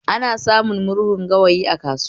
Ana samun murhun gawayi a kasuwa